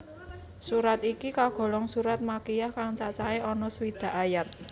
Surat iki kagolong surat Makkiyah kang cacahe ana swidak ayat